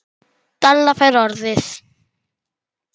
Stella fær orðið.